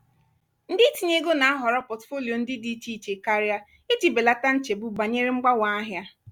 ndị itinye ego na-ahọrọ portfolio ndị dị iche iche karịa iji belata nchegbu banyere mgbanwe ahịa.